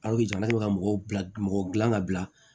Alijina bɛ ka mɔgɔw bila mɔgɔ dilan ka bila